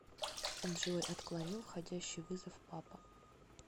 джой отклонил входящий вызов папа